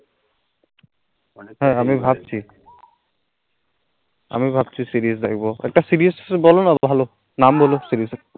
আমি ভাবছি, আমি ভাবছি series দেখবো, একতা series বলো না ভালো, নাম বলো series এর